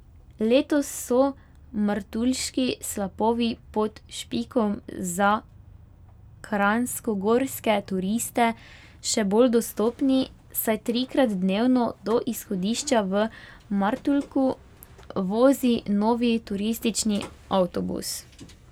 Letos so Martuljški slapovi pod Špikom za kranjskogorske turiste še bolj dostopni, saj trikrat dnevno do izhodišča v Martuljku vozi novi turistični avtobus.